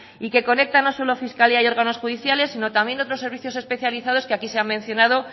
y que conecta no solo fiscalía y órganos judiciales sino también otros servicios especializados que aquí se han mencionado